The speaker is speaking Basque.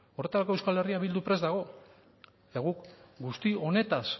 eta guk guzti honetaz